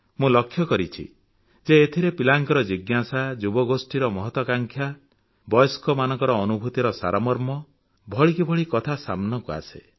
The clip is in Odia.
ମୁଁ ଲକ୍ଷ୍ୟ କରିଛି ଯେ ଏଥିରେ ପିଲାଙ୍କ ଜିଜ୍ଞାସା ଯୁବଗୋଷ୍ଠୀର ମହତ୍ୱାଂକାଂକ୍ଷା ବୟସ୍କମାନଙ୍କ ଅନୁଭୂତିର ସାରମର୍ମ ଭଳିକି ଭଳି କଥା ସାମନାକୁ ଆସେ